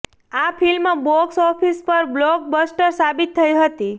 આ film box office પર blockbuster સાબિત થઇ હતી